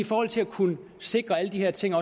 forhold til at kunne sikre alle de her ting